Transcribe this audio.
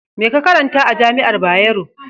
Me ka karanta a jami'ar Bayero?